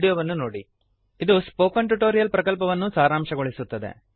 httpspoken tutorialorgWhat is a Spoken Tutorial ಅದು spoken tutorial ಪ್ರಕಲ್ಪವನ್ನು ಸಾರಾಂಶಗೊಳಿಸುತ್ತದೆ